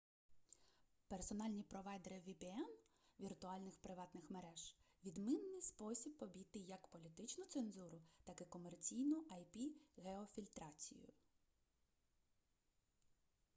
персональні провайдери vpn віртуальних приватних мереж — відмінний спосіб обійти як політичну цензуру так і комерційну ip-геофільтрацію